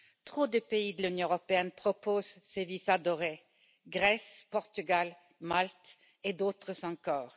Trop de pays de l'Union européenne proposent ces visas dorés Grèce, Portugal, Malte et d'autres encore.